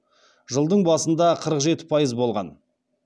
жылдың басында қырық жеті пайыз болған